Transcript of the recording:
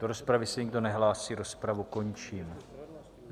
Do rozpravy se nikdo nehlásí, rozpravu končím.